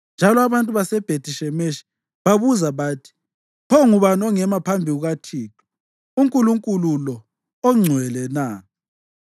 njalo abantu baseBhethi-Shemeshi babuza bathi, “Pho ngubani ongema phambi kukaThixo, uNkulunkulu lo ongcwele na?”